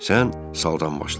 Sən saldan başla.